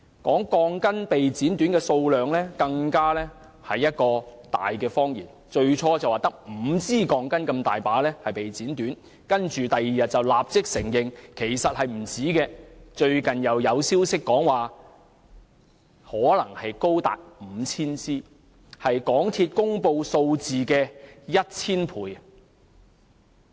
它說的被剪短鋼筋數目，更是一個大謊言，最初說只有5支鋼筋被剪短，但翌日便立即承認其實不止此數，最近又有消息指可能高達 5,000 支，是港鐵公司所公布數字的 1,000 倍。